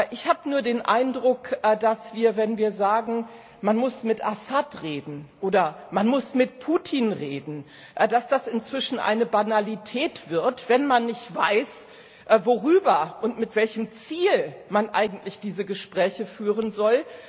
Ich habe nur den Eindruck, wenn wir sagen Man muss mit Assad reden, oder Man muss mit Putin reden, dass das inzwischen eine Banalität wird, wenn man nicht weiß, worüber und mit welchen Ziel man eigentlich diese Gespräche führen soll.